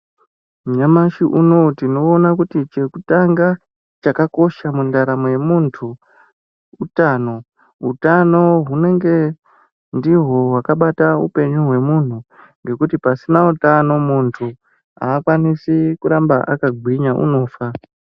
Nyamashi unowu tinoona kuti chekutanga chakakosha mundaramo yemuntu utano hutano hunenge ndiwo wakabata hupenyu wemuntu ngekuti pasina utano muntu akwanisi kuramba akagwinya unofa.